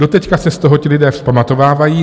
Doteď se z toho ti lidé vzpamatovávají.